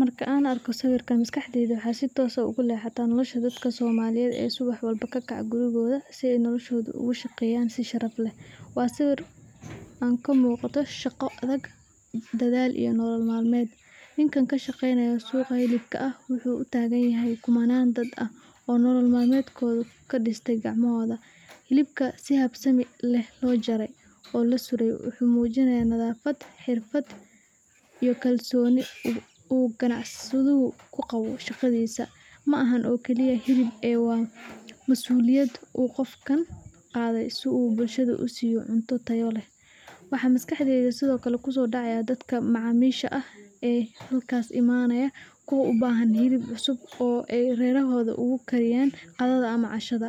Markan an arko sawirkan maskaxdeyda waxa si toos ah ogusodaca nolosha dadka somalida ee suwax walbo kakaca gurigoda si ay noloshoda ogushageyan si sharaf leh, wa sawir kamugato shaga adag daadal iyo nolol malmed , ninkan kashageynayo suqaa hilibka ah wuxu utagayanhay kumanan dad ah oo nolol malmedkoda kadistay gacmahoda, hilubka si habsami ah lojaray ona lasuray wuxu mujinaya nadafat hirfat iyo kalsoni u ganacsadatu kuqawo shagadisa, maahan oo kale shago ee wa masuliyad u gofkan gadhii si uu bulshada usi cunto taya leh, waxa maskaxdeyda Sidhokale kusodaca dadka macamisha ah ee halkas imanaya kuwa ubahan hilib cusub ee ay rerahoda ogukariyen, qadada ama cashada,